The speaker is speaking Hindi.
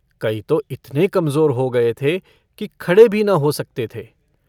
कई तो इतने कमज़ोर हो गए थे कि खड़े भी न हो सकते थे।